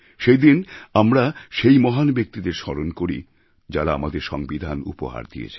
সেই দিন আমরা সেই মহান ব্যক্তিদের স্মরণ করি যাঁরা আমাদের সংবিধান উপহার দিয়েছেন